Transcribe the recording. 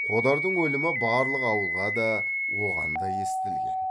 қодардың өлімі барлық ауылға да оған да естілген